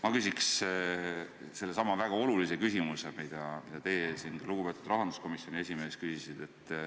Ma küsiks sellesama väga olulise küsimuse, mida teie siin küsisite ja ka lugupeetud rahanduskomisjoni esimees küsis.